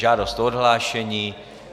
Žádost o odhlášení.